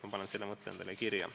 Ma panen selle mõtte endale kirja.